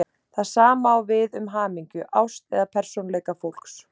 Það sama á við um hamingju, ást eða persónuleika fólks.